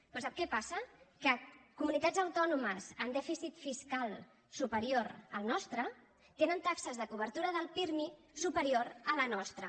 però sap què passa que comunitats autònomes amb dèficit fiscal superior al nostre tenen taxes de cobertura del pirmi superiors a la nostra